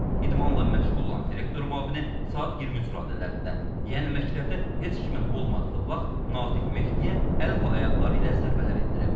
İdmanla məşğul olan direktor müavini saat 23 radələrində, yəni məktəbdə heç kimin olmadığı vaxt Natiq Mehdiyə əl və ayaqları ilə zərbələr endirib.